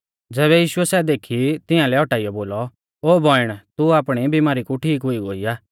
ज़ैबै यीशुऐ सै देखी तिंआलै औटाइयौ बोलौ ओ बौइण तू आपणी बीमारी कू ठीक हुई गोई आ